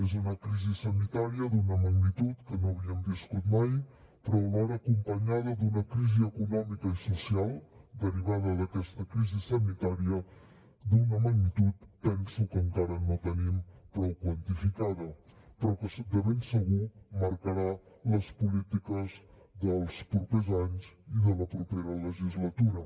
és una crisi sanitària d’una magnitud que no havíem viscut mai però alhora acompanyada d’una crisi econòmica i social derivada d’aquesta crisi sanitària d’una magnitud que penso que encara no tenim prou quantificada però que de ben segur marcarà les polítiques dels propers anys i de la propera legislatura